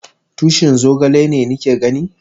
Tushin zogale ne ni ke gani?